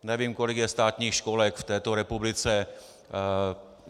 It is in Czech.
Nevím, kolik je státních školek v této republice.